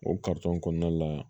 O kɔnɔna la